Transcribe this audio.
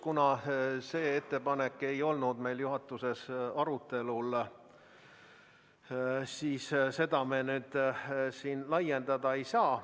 Kuna see ettepanek ei olnud meil juhatuses arutelul, siis me seda kahjuks niimoodi laiendada ei saa.